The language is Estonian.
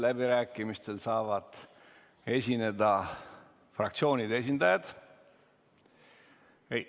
Läbirääkimistel saavad esineda fraktsioonide esindajad.